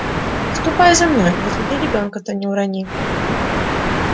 ступай за мной да смотри ребенка-то не урони